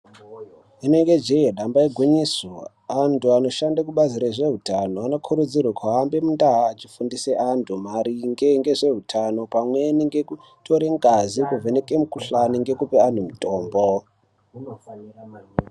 Rinenge jee ndamba igwinyiso antu anoshande kubazi rezveutano anokurudzirwa ahambe mundaa afundise antu maringe ngezveutano pamweni nekutore ngazi mukuvheneke mukuhlani ngekuapa mitombo.